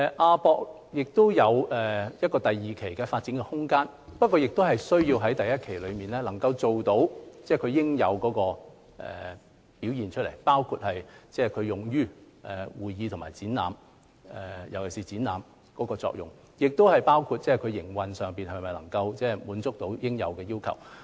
亞博館擁有第二期的發展空間，但第一期先要做到其應有表現，包括會議和展覽，特別是展覽方面的作用，同時要考慮其營運能否達到應有要求。